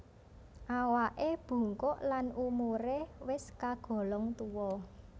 Awaké bungkuk lan umuré wis kagolong tuwa